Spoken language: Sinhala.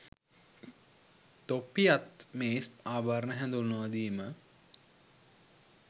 තොප්පි අත් මේස් ආභරණ හඳුන්වාදීම